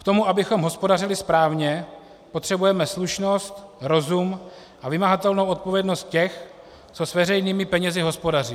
K tomu, abychom hospodařili správně, potřebujeme slušnost, rozum a vymahatelnou odpovědnost těch, kteří s veřejnými penězi hospodaří.